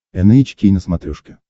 эн эйч кей на смотрешке